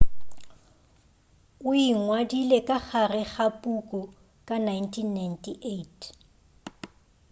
o ingwadile ka gare ga puku ka 1998